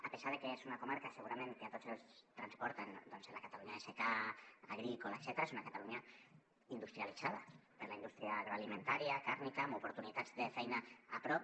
a pesar de que és una comarca segurament que a tots ens transporta doncs a la catalunya de secà agrícola etcètera és una catalunya industrialitzada per la indústria agroalimentària càrnica amb oportunitats de feina a prop